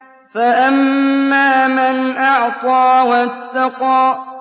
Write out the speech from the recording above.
فَأَمَّا مَنْ أَعْطَىٰ وَاتَّقَىٰ